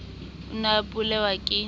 o ne a opelwa ke